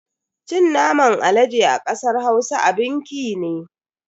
Cin naman alade a kasar Hausa abin ki ne.